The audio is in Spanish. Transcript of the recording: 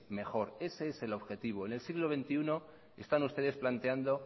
mejor ese es el objetivo en el siglo veintiuno están ustedes planteando